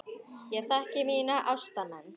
Ég þekki mína ástmenn.